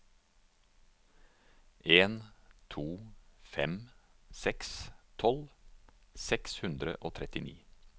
en to fem seks tolv seks hundre og trettini